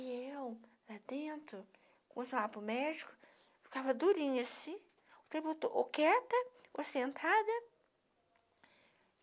E eu, lá dentro, quando chamava para o médico, ficava durinha assim, o tempo todo, ou quieta, ou sentada.